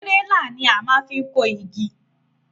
Tírélà ní a maá fi kó igi